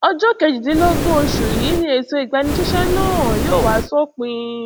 ọjọ kejìdínlọgbọn oṣù yìí ni ètò ìgbanisíṣẹ náà yóò wá sópin